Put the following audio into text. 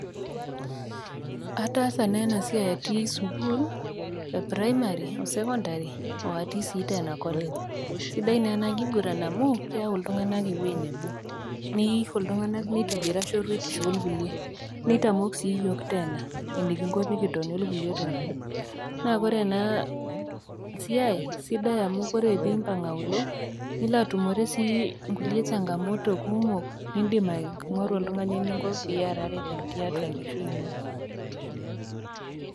Ataasa naa ena siai atii sukuul, e primary o secondary oo atii sii teena college. Sidai naa ena kiguran amu keyau iltung'ana ewueji nabo, neisho iltung'ana meitobira shoruetisho o kulie, neitamok sii iyiok Teena enekingo pee kitoni o kulie tung'ana. Naa Kore ena siai naa ore pee impang' aulo nilo atumore sii inkulie changamoto kumok niindim aikuna oltang'ani pee iarare tiatua enkishui ino.